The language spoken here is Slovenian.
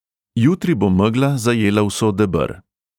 Jutri bo megla zajela vso deber.